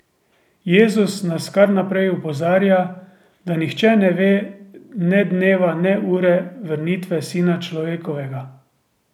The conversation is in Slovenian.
Jezus nas kar naprej opozarja, da nihče ne ve ne dneva ne ure vrnitve Sina Človekovega.